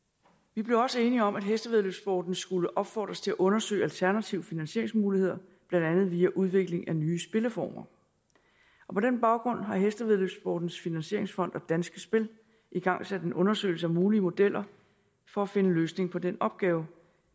vi blev også enige om at hestevæddeløbssporten skulle opfordres til at undersøge alternative finansieringsmuligheder blandt andet via udvikling af nye spilformer på den baggrund har hestevæddeløbssportens finansieringsfond og danske spil igangsat en undersøgelse af mulige modeller for at finde en løsning på den opgave